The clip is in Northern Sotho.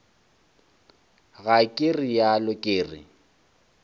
ga ke realo ke re